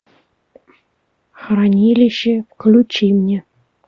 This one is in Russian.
хранилище включи мне